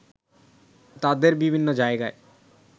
তাদের বিভিন্ন জায়গায়